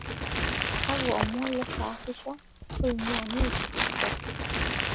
kakwa omon leesaasisho ongwaa news express